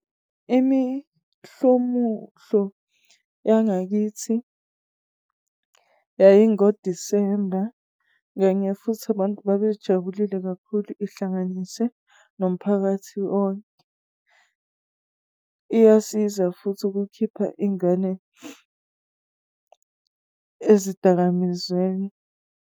yangakithi, yayi ngo-December. Kanye futhi abantu babejabulile kakhulu ihlanganise nomphakathi wonke. Iyasiza futhi ukukhipha ingane ezidakamizweni.